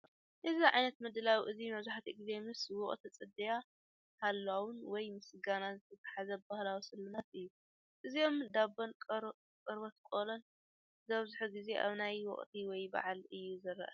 እዚ ዓይነት ምድላው እዚ መብዛሕትኡ ግዜ ምስ ወቕቲ ጽድያ፡ ሃሎዊን ወይ ምስጋና ዚተሓሓዝ ባህላዊ ስልማት እዩ። እዞም ዱባን ቆርበት ቆሎን ዝበዝሕ ግዜ ኣብ ኣየናይ ወቕቲ ወይ በዓል እዩ ዝረኣዩ?